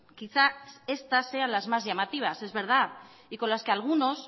quizás sean estas las más llamativas es verdad y con las que algunos